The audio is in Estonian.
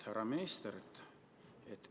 Härra minister!